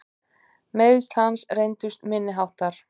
Meiðsl hans reyndust minni háttar.